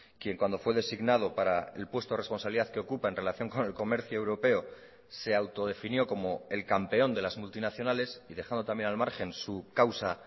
quien cuando fue designado para el puesto de responsabilidad que ocupa en relación con el comercio europeo se autodefinió como el campeón de las multinacionales y dejando también al margen su causa